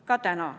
Ka täna.